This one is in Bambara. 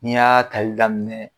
N'i y'a kali daminɛ